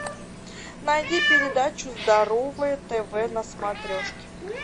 найди передачу здоровое тв на смотрешке